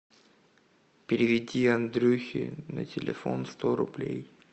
переведи андрюхе на телефон сто рублей